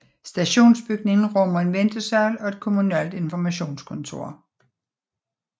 Stationsbygningen rummer en ventesal og et kommunalt informationskontor